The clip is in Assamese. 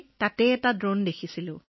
সুনীতাজী এই কথা মই বুজিছো